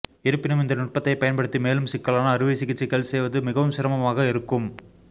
இருப்பினும் இந்த நுட்பத்தை பயன்படுத்தி மேலும் சிக்கலான அறுவை சிகிச்சைகள் செய்வது மிகவும் சிரமமாக இருக்கும்